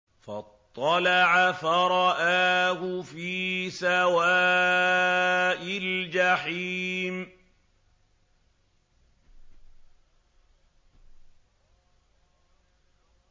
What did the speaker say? فَاطَّلَعَ فَرَآهُ فِي سَوَاءِ الْجَحِيمِ